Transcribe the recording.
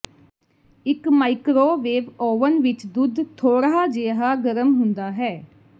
ਇੱਕ microwave oven ਵਿੱਚ ਦੁੱਧ ਥੋੜ੍ਹਾ ਜਿਹਾ ਗਰਮ ਹੁੰਦਾ ਹੈ